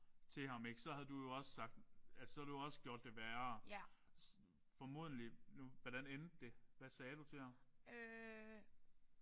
Til ham ik. Så havde du jo også sagt så havde du jo også gjort det værre formodentlig. Hvordan endte det? Hvad sagde du til ham?